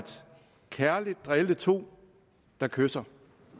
drille to der kysser